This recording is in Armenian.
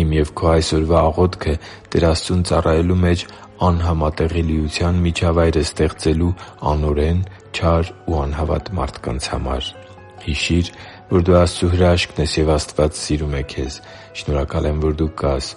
Իմ և քո այսօրվա աղոթքը Տեր Աստծուն ծառայելու մեջ անհամատեղելիության միջավայր է ստեղծելու անօրեն, չար ու անհավատ մարդկանց համար․․․ Հիշի՛ր, որ դու Աստծո հրաշքն ես, և Աստված սիրում է քեզ։ Շնորհակալ եմ, որ դու կա՛ս